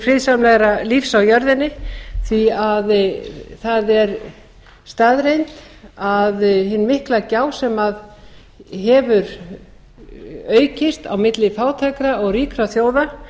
friðsamlegra lífs á jörðinni því það er staðreynd að hin mikla gjá sem hefur aukist milli fátækra og ríkra þjóða